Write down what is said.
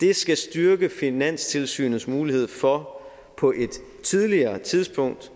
det skal styrke finanstilsynets mulighed for på et tidligere tidspunkt